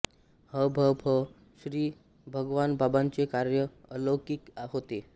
ह भ प श्री भगवानबाबांचे कार्य अलौकिक होते